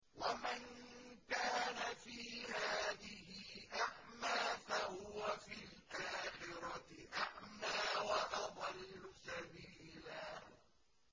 وَمَن كَانَ فِي هَٰذِهِ أَعْمَىٰ فَهُوَ فِي الْآخِرَةِ أَعْمَىٰ وَأَضَلُّ سَبِيلًا